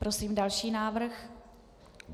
Prosím další návrh.